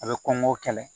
A bɛ kɔngɔ kɛlɛ